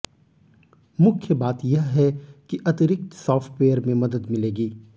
मुख्य बात यह है कि अतिरिक्त सॉफ्टवेयर में मदद मिलेगी